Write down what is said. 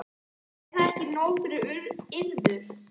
Er það ekki nóg fyrir yður?